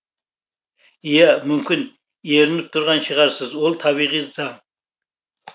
ия мүмкін ерініп тұрған шығарсыз ол табиғи заң